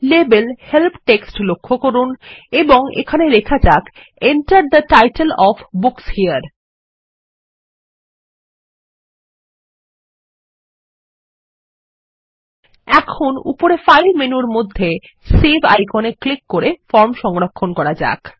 label help text লক্ষ্য করুনএবং এখানে লেখা যাক Enter the title of book here এখন উপরে ফাইল মেনুর মধ্যে সেভ আইকনে ক্লিক করে ফর্মসংরক্ষণ করা যাক